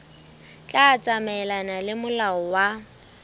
tla tsamaelana le molao wa